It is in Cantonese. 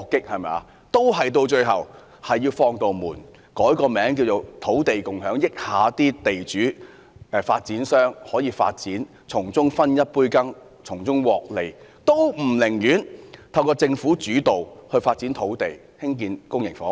最後，當局還是要開一道門，改名為"土地共享"，讓地主及發展商參與發展，讓他們分一杯羹，從中獲利，但卻不肯透過政府主導來發展土地，興建公營房屋。